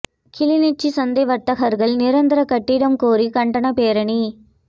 கிளிநொச்சி சந்தை வர்த்தகர்கள் நிரந்தர கட்டிடம் கோரி கண்டனப் பேரணி